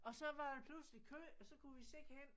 Og så var der pludselig kø og så kunne vi se hen